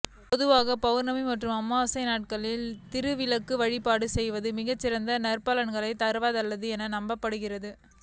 பொதுவாக பவுர்ணமி மற்றும் அமாவாசை நாட்களில் திருவிளக்கு வழிபாடு செய்வது மிகச்சிறந்த நற்பலன்களைத் தரவல்லது என நம்பப்படுகிறது